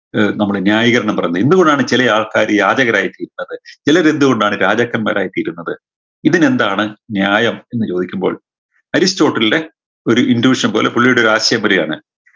ഏർ നമ്മുടെ ന്യായീകരണം പറഞ്ഞെ എന്ത്‌കൊണ്ടാണ് ചേലെ ആൾക്കാര് യാചകരായ് തീരുന്നത് ചിലരെന്ത് കൊണ്ടാണ് രാജാക്കന്മാരായ് തീരുന്നത് ഇതിനെന്താണ് ന്യായം എന്ന് ചോദിക്കുമ്പോൾ അരിസ്റ്റോട്ടിലിൻറെ ഒരു intution പോലെ പുള്ളിയുടെ ഒരു ആശയം പറയാണ്